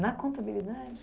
Na contabilidade?